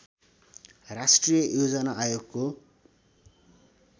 राष्ट्रिय योजना आयोगको